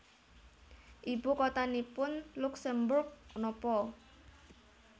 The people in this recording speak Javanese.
Ibu kotanipun Luksemburg nopo